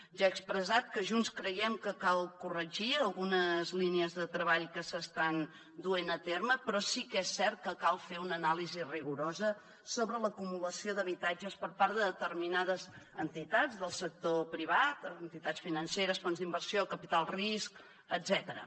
ja he expressat que junts creiem que cal corregir algunes línies de treball que s’estan duent a terme però sí que és cert que cal fer una anàlisi rigorosa sobre l’acumulació d’habitatges per part de determinades entitats del sector privat entitats financeres fons d’inversió capital risc etcètera